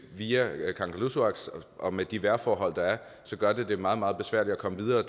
via kangerlussuaq og med de vejrforhold der er gør det det meget meget besværligt at komme videre